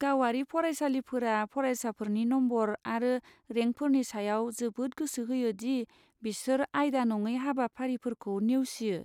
गावारि फरायसालिफोरा फरायसाफोरनि नम्बर आरो रेंकफोरनि सायाव जोबोद गोसो होयो दि बिसोर आयदा नङै हाबाफारिफोरखौ नेवसियो।